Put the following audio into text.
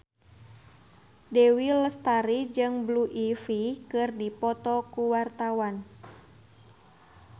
Dewi Lestari jeung Blue Ivy keur dipoto ku wartawan